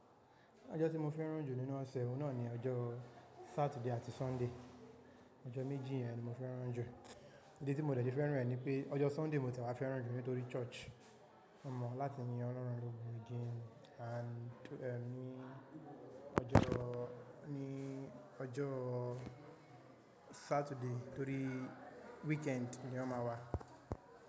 Ọjọ́ tí mo fẹ́ràn jù nínú ọ̀sẹ̀, òun náà ni ọjọ́ Saturday àti Sunday. Ọjọ́ méjì yẹn ni mo fẹ́ràn jù. Ídí tí mo dẹ̀ se fẹ́ràn ni pé ọjọ́ Sunday mo tì e wá fẹ́ràn jù nítorí church. Mo mọ láti yin ọlọ́run lógo again and ní ọjọ́, ní ọjọ́ Saturday torí weekend ni ó máa wà.